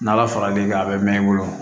N'ala far'i kan a bɛ mɛn i bolo